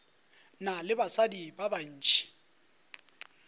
na le basadi ba bantši